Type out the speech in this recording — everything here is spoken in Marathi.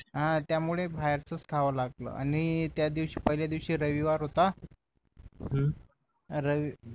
हा त्यामुळे बाहेरच च खावं लागल आणि त्या दिवशी पहिल्या दिवशी रविवार होता रवि